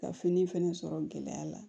Ka fini fɛnɛ sɔrɔ gɛlɛya la